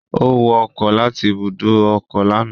Ó wọ ọkọ̀ láti ibùdó ọkọ̀ lánàá